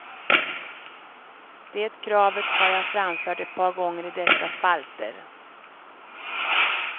Det kravet har jag framfört ett par gånger i dessa spalter.